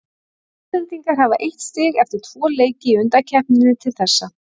Íslendingar hafa eitt stig eftir tvö leiki í undankeppninni til þessa.